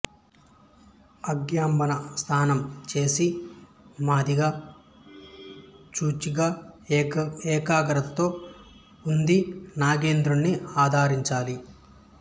అభ్యంగన స్నానం చేసి మాదిగా శుచిగా ఏకాగ్రతతో ఉంది నాగేంద్రుడిని ఆరాధించాలి